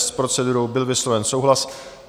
S procedurou byl vysloven souhlas.